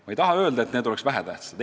Ma ei taha öelda, et need on vähetähtsad.